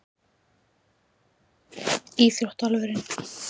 Hver er uppáhalds ÍÞRÓTTAMAÐURINN þinn?